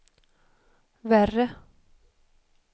värre